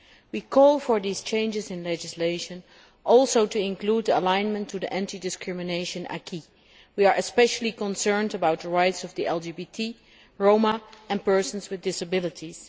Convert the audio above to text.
We also call for these changes in legislation to include alignment to the anti discrimination acquis. We are especially concerned about the rights of the LGBT, Roma and persons with disabilities.